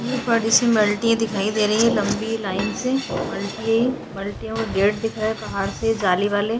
ये बड़ी सी मुलतिये दिखाई दे रही है लम्बी लाइन से मुलतिये है ये मल्टियों का गेट दिख रहा है पहाड़ से जाली-वाले --